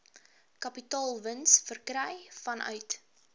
kapitaalwins verkry vanuit